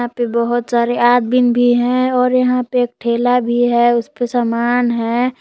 यहां पे बहोत सारे आदमीन भी हैं और यहां पे एक ठेला भी है उसपे समान है।